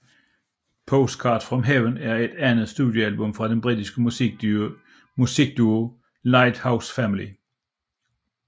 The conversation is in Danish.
Postcards from Heaven er det andet studiealbum fra den britiske musikduo Lighthouse Family